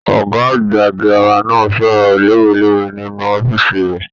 Ọgá àgbà gírámà náà sọ̀rọ̀ lowelowe nínú ọfíisi rẹ.